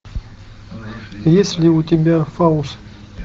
есть ли у тебя фауст